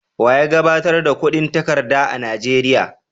Wa ya gabatar da kudin takarda a Nigeria?